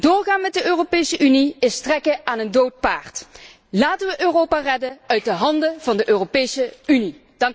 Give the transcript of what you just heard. Doorgaan met de Europese Unie is trekken aan een dood paard. Laten wij Europa redden uit de handen van de Europese Unie.